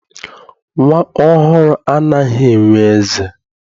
Nnwa ọhụrụ anaghị enwe eze.